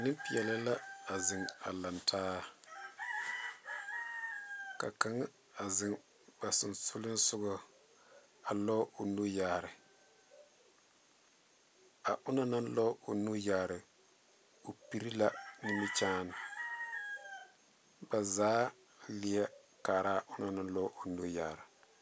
Neŋpeɛɛle la a zeŋ a laŋtaa ka kaŋa zeŋ ba seŋsugliŋsugɔ a lɔɔ o nu yaare a onɔŋ naŋ lɔɔ o nu yaare o pire la nimikyaane baa leɛ kaaraa onɔŋ naŋ lɔɔ o nu yaare. '